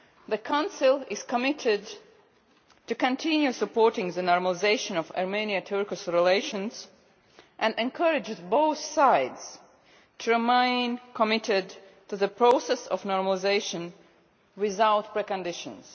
The Council is committed to continue supporting the normalisation of Armenian Turkish relations and encourages both sides to remain committed to the process of normalisation without preconditions.